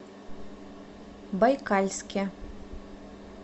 байкальске